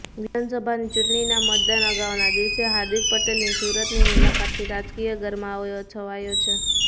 વિધાનસભાની ચૂંટણીના મતદાન અગાઉના દિવસે હાર્દિક પટેલની સુરતની મુલાકાતથી રાજકીય ગરમાવો છવાયો છે